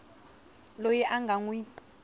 loyi a nga n wi